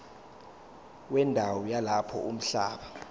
wendawo yalapho umhlaba